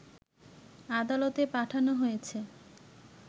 আদালতে পাঠানো হয়েছে